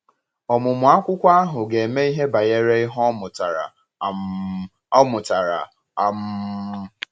Ọmụmụ akwụkwọ ahụ ga-eme ihe banyere ihe ọ mụtara. um ọ mụtara. um